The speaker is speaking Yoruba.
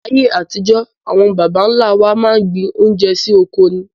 Ayé àtijó àwon bàbá nlá wa máa n gbin oúnje sí ọkọ ní